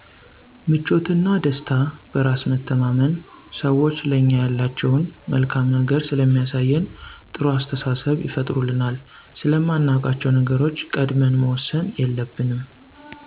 ምቾትና፣ ደስታ፣ በራስ መተማመን፣ ሰዎቹ ለኛ ያላቸውን መልካም ነገር ስለሚያሳየን ጥሩ አስተሳሰብ ይፈጥሩልናል፤ ስለማናውቃቸዉ ነገሮች ቀድመን መወሰን የለብንም